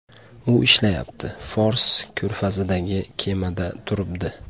U ishlayapti, Fors ko‘rfazidagi kemada turibdi.